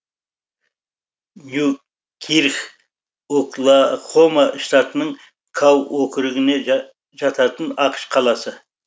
ньюкирк оклахома штатының кау округіне жататын ақш қаласы